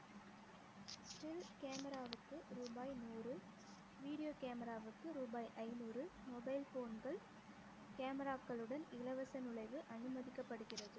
still camera வுக்கு ரூபாய் நூறு video camera வுக்கு ரூபாய் ஐநூறு mobile phone கள் camera க்களுடன் இலவச நுழைவு அனுமதிக்கப்படுகிறது